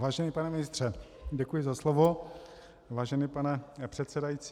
Vážený pane ministře - děkuji za slovo, vážený pane předsedající.